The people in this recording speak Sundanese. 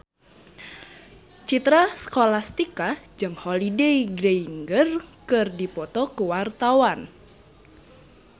Citra Scholastika jeung Holliday Grainger keur dipoto ku wartawan